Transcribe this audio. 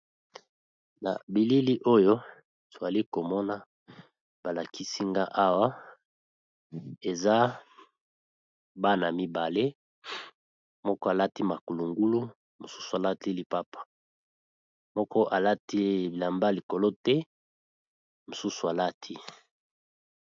Na bilili oyo twali komona balakisinga awa eza bana mibale moko alati makulungulu mosusu alati lipapa moko alati bilamba likolo te mosusu alati.